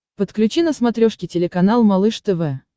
подключи на смотрешке телеканал малыш тв